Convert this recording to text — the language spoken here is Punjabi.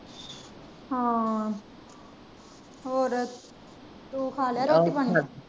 ਹਾਂ ਹੋਰ ਤੂੰ ਖਾ ਲਿਆ ਰੋਟੀ ਪਾਣੀ।